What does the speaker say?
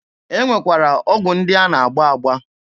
E nwekwara ọgwụ ndị a na-agba agba.